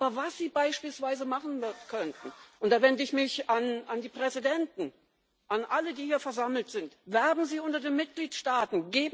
Aber was Sie beispielsweise machen könnten und da wende ich mich an die Präsidenten, an alle, die hier versammelt sind Werben Sie unter den Mitgliedstaaten!